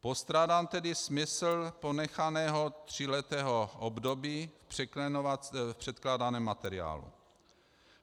Postrádám tedy smysl ponechaného tříletého období v předkládaném materiálu.